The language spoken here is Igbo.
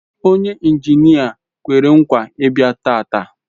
Onye injinia kwere nkwa Ibia taata